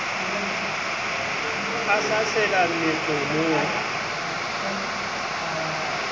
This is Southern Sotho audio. a sa sela meqomong a